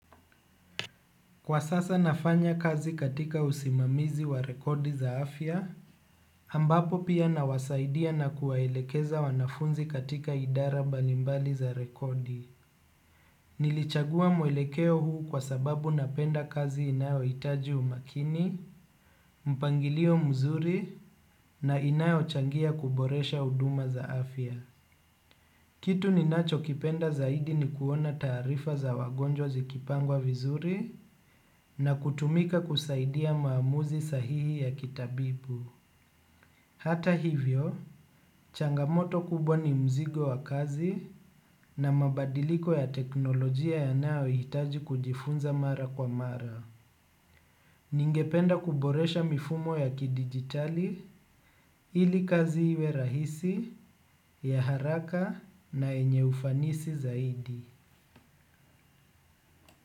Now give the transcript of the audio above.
Kwa sasa nafanya kazi katika usimamizi wa rekodi za afya, ambapo pia nawasaidia na kuwaelekeza wanafunzi katika idara mbali mbali za rekodi. Nilichagua mwelekeo huu kwa sababu napenda kazi inayohitaji umakini, mpangilio mzuri na inayochangia kuboresha huduma za afya. Kitu ninachokipenda zaidi ni kuona taarifa za wagonjwa zikipangwa vizuri na kutumika kusaidia maamuzi sahihi ya kitabibu. Hata hivyo, changamoto kubwa ni mzigo wa kazi na mabadiliko ya teknolojia yanayohitaji kujifunza mara kwa mara. Ningependa kuboresha mifumo ya kidigitali ili kazi iwe rahisi ya haraka na yenye ufanisi zaidi.